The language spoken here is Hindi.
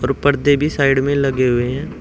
ऊपर देवी साइड में लगे हुए हैं।